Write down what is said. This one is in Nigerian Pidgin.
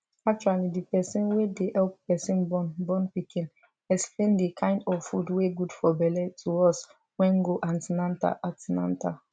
actually the person wey dey help person born born pikin explain the kind of food wey good for belle to us wen go an ten atal an ten atal